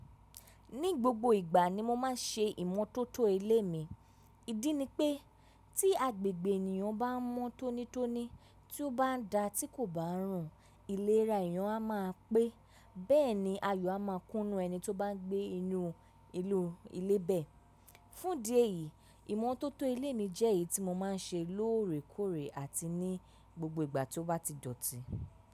Ní gbogbo ìgbà ni mo má n ṣe ìmọ́tótó ilé mi. Ìdí ni pé tí agbègbè ènìyàn bá mọ́ tónítóní tí ó bá ń da tí kò bá rùn ìlera, èèyàn a máa pé bẹ́ẹ̀ni ayọ̀ a máa kúnnú ẹni tí ó bá gbé inú ìnú ilé bẹ́ẹ̀. Fúndi èyií, ìmọ́tótó ilé mi jẹ́ èyí tí mo máa ń ṣe lóòrèkóòrè àti ní gbogbo ìgbà tí ó bá ti dọ̀tí.